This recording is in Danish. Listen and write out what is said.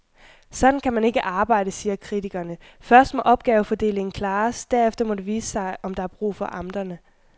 Sådan kan man ikke arbejde, siger kritikerne, først må opgavefordelingen klares, derefter må det vise sig, om der er brug for amterne.